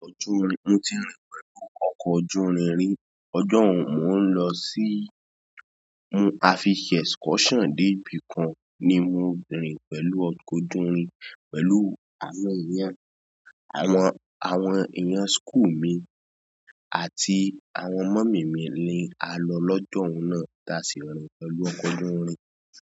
Mo ti rìn pẹ̀lú ọkọ̀ ojúrin rí, ọjọ́ wo mò ń lọ sí, mú àfi se excursion dé ibi kan ni mo rìn pẹ̀lú ọkọ̀ ojúrin, pẹ̀lú àwọn èèyàn, àwọn, àwọn èèyàn school mi àti àwọn mọ̀mmy mi ni a lọ lọ́jọ́ wo náà táa sì rìn pẹ̀lú ọkọ̀ ojúrin.